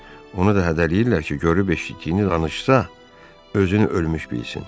Onu da hədələyirlər ki, görüb eşitdiyini danışsa, özünü ölmüş bilsin.